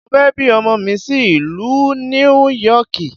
Mo fẹ́ bí ọmọ mi sí ìlú Níú Yọkìì.